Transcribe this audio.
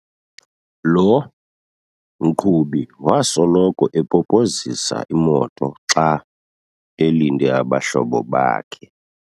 Lo mqhubi wasoloko epopozisa imoto xa elinde abahlobo bakhe.